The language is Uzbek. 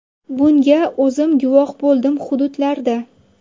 Bunga o‘zim guvoh bo‘ldim hududlarda.